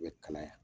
U bɛ kalaya